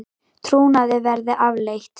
Trúnaði verði aflétt